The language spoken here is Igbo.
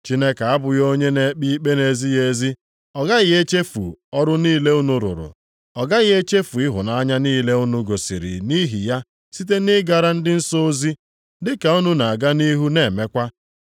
Chineke abụghị onye na-ekpe ikpe nʼezighị ezi. Ọ gaghị echefu ọrụ niile unu rụrụ ya. Ọ gaghị echefu ịhụnanya niile unu gosiri nʼihi ya site nʼịgara ndị nsọ ozi, dịka unu na-aga nʼihu na-emekwa.